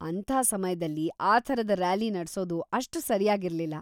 ಅಂಥ ಸಮಯ್ದಲ್ಲಿ ಆ ಥರದ ರ್ಯಾಲಿ ನಡ್ಸೋದು ಅಷ್ಟು ಸರಿಯಾಗಿರ್ಲಿಲ್ಲ.